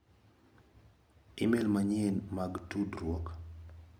imel manyien mag tudruok.